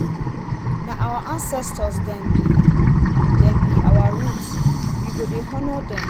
na our ancestor dem be dem be our root we go dey honour dem.